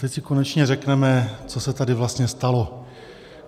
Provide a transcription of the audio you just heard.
Teď si konečně řekneme, co se tady vlastně stalo.